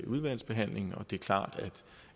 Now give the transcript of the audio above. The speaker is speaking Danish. udvalgsbehandlingen og det er klart